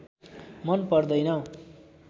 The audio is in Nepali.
मन पर्दैन